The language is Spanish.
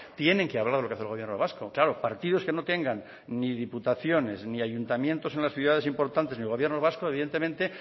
tienen que hablar de lo que hace el gobierno vasco claro partidos que no tengan ni diputaciones ni ayuntamientos en las ciudades importantes ni gobierno vasco evidentemente